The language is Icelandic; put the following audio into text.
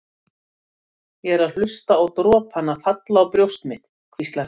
Ég er að hlusta á dropana falla á brjóst mitt, hvíslar hann.